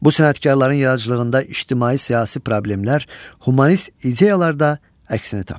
Bu sənətkarların yaradıcılığında ictimai-siyasi problemlər, humanist ideyalar da əksini tapırdı.